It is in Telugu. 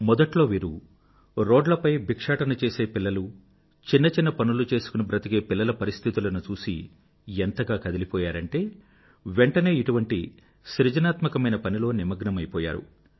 మొదట్లో వీరు రోడ్లపై భిక్షాటన చేసే పిల్లలను చిన్న చిన్న పనులు చేసుకుని బ్రతికే పిల్లల పరిస్థితులను చూసి ఎంతగా కదిలిపోయారంటే వెంఠనే ఇటువంటి సృజనాత్మకమైన పనిలో నిమగ్నమైపోయారు